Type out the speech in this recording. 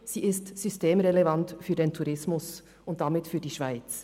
Sie ist systemrelevant für den Tourismus und damit für die Schweiz.